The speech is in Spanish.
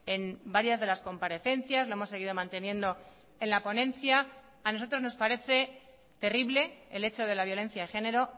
en varias de las comparecencias lo hemos seguido manteniendo en la ponencia a nosotros nos parece terrible el hecho de la violencia de género